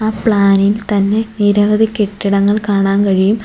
ആ പ്ലാൻ ഇൽ തന്നെ നിരവധി കെട്ടിടങ്ങൾ കാണാൻ കഴിയും.